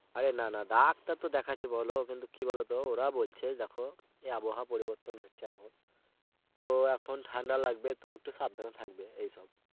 আরে না না ডাক্তার তো দেখাচ্ছি বলো কিন্তু কি বলো তো ওরা বলছে দেখো এ আবহাওয়া পরিবর্তন হচ্ছে এখন তো এখন ঠান্ডা লাগবে তো একটু সাবধানে থাকবে, এইসব.